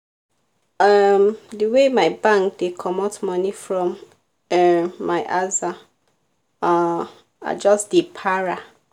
um the way my bank dey comot money from um my aza um i just dey para